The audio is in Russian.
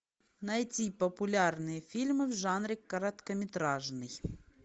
найти популярные фильмы в жанре короткометражный